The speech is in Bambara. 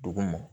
Duguma